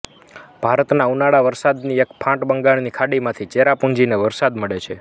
ભારતના ઉનાળા વરસાદની એક ફાંટ બંગાળની ખાડીમાંથી ચેરાપુંજીને વરસાદ મેળે છે